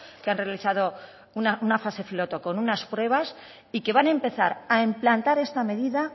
que han realizado una fase piloto con unas pruebas y que van a empezar a implantar esta medida